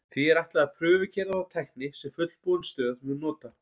því er ætlað að prufukeyra þá tækni sem fullbúin stöð mun nota